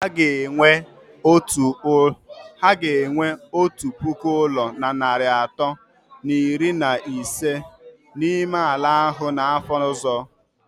Ha ga-enwe otu puku ụlọ na narị atọ na iri na ise n'ime ala ahụ n'afọ ọzọ